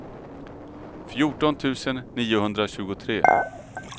fjorton tusen niohundratjugotre